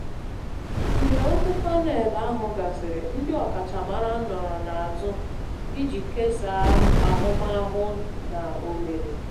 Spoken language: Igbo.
Mgbe okwu panel ahụ gasịrị, ndị ọkachamara nọrọ n'azụ iji kesaa ahụmahụ na ohere